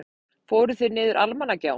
Fóruð þið niður Almannagjá?